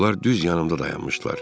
Onlar düz yanımda dayanmışdılar.